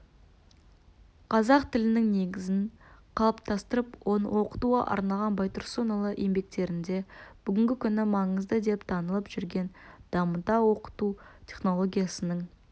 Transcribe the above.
қазақ тілінің негізін қалыптастырып оны оқытуға арналған байтұрсынұлы еңбектерінде бүгінгі күні маңызды деп танылып жүрген дамыта оқыту технологиясының